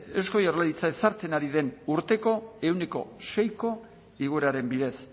eusko jaurlaritza ezartzen ari den urteko ehuneko seiko igoeraren bidez